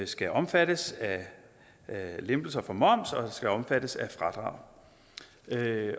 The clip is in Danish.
skal omfattes af lempelser for moms og skal omfattes af fradrag